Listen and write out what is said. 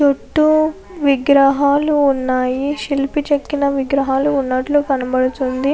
చుట్టూ విగ్రహాలు ఉన్నాయి శిల్పి చెక్కిన విగ్రహాలు ఉన్నట్లు కనపడుతుంది.